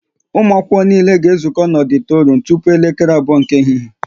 Ụmụ akwụkwọ niile ga ezuko na ọditorum tupu elekere abụọ nke ehihie!